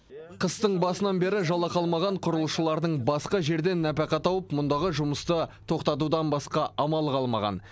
қыстың басынан бері жалақы алмаған құрылысшылардың басқа жерден нәпақа тауып мұндағы жұмысты тоқтатудан басқа амалы қалмаған